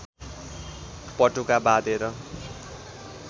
पटुका बाँधेर